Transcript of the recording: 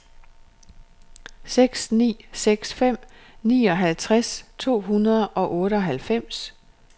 seks ni seks fem nioghalvtreds to hundrede og otteoghalvfems